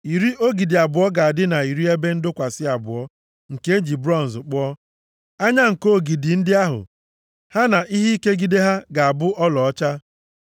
Iri ogidi abụọ ga-adị na iri ebe ndọkwasị abụọ nke e ji bronz kpụọ. Anya nko ogidi ndị ahụ ha na ihe ikegide ha ga-abụ ọlaọcha.